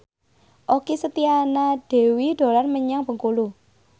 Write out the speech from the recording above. Okky Setiana Dewi dolan menyang Bengkulu